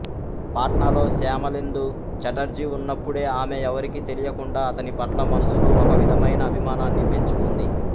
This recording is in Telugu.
పాట్నాలో శ్యామలేందు ఛటర్జీ వున్నప్పుడే ఆమె ఎవరికీ తెలియకుండా అతనిపట్ల మనసులో ఒక విధమైన అభిమానాన్ని పెంచుకుంది